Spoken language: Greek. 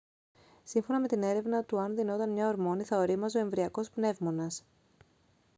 σύμφωνα με την έρευνά του αν δινόταν μια ορμόνη θα ωρίμαζε ο εμβρυακός πνεύμονας